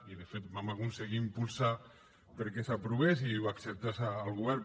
i de fet vam aconseguir impulsar lo perquè s’aprovés i l’acceptés el govern